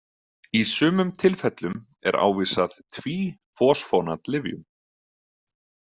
Í sumum tilfellum er ávísað tvísfosfónatlyfjum.